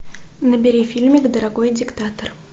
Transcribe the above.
набери фильмик дорогой диктатор